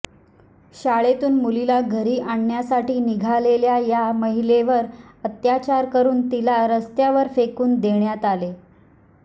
शाळेतून मुलीला घरी आणण्यासाठी निघालेल्या या महिलेवर अत्याचार करून तिला रस्त्यावर फेकून देण्यात आले